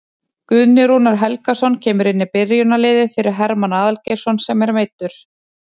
Guðni Rúnar Helgason kemur inn í byrjunarliðið fyrir Hermann Aðalgeirsson sem er meiddur.